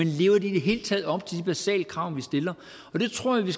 de i det hele taget lever op til de basale krav vi stiller det tror jeg vi